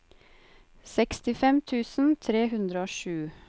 sekstifem tusen tre hundre og sju